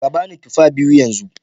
Ka ba ni tufa biyu yanzu